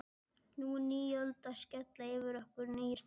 Nú er ný öld að skella yfir okkur, nýir tímar.